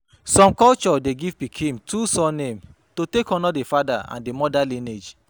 Some culture de give pikin two surnames to take honor the father and the mother lineage